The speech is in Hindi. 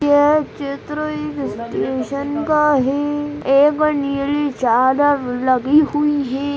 यह चित्र स्टेशन का है। एक नीली चादर लगी हुई है।